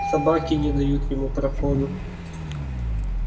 собаки не дают ему проходу